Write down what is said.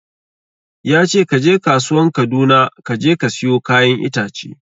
Yace kaje kasuwan Kaduna kaje ka siyo kayan itace